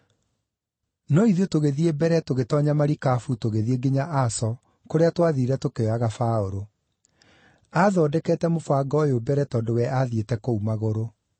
No ithuĩ tũgĩthiĩ mbere tũgĩtoonya marikabu tũgĩthiĩ nginya Aso, kũrĩa twathiire tũkĩoyaga Paũlũ. Aathondekete mũbango ũyũ mbere tondũ we athiĩte kũu magũrũ.